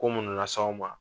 Ko munnu las'aw ma.